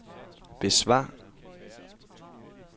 besvar